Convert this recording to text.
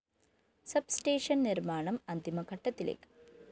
sub station നിര്‍മ്മാണം അന്തിമ ഘട്ടത്തിലേക്ക്